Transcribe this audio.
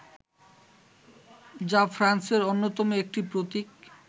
যা ফ্রান্সের অন্যতম একটি প্রতীক